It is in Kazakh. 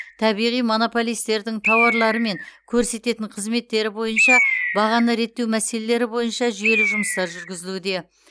табиғи монополистердің тауарлары мен көрсететін қызметтері бойынша бағаны реттеу мәселелері бойынша жүйелі жұмыстар жүргізілуде